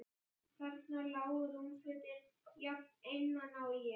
Þarna lágu rúmfötin, jafn einmana og ég.